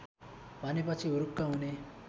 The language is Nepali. भनेपछि हुरुक्क हुने